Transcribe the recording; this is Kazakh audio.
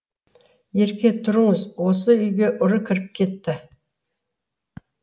ерке тұрыңыз осы үйге ұры кіріп кетті